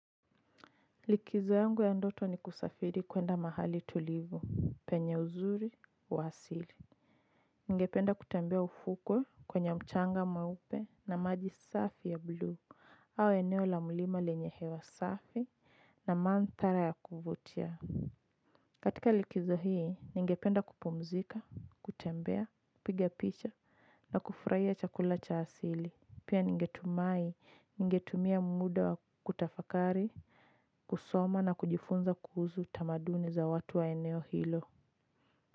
Likizo yangu ya ndoto ni kusafiri kuenda mahali tulivu penye uzuri wa asili ningependa kutembea ufukwe kwenye mchanga mweupe na maji safi ya blue au eneo la mlima lenye hewa safi na mandhara ya kuvutia katika likizo hii ningependa kupumzika kutembea kupiga picha na kufurahia chakula cha asili pia ningetumai ningetumia muda wa kutafakari. Kusoma na kujifunza kuhusu tamaduni za watu wa eneo hilo.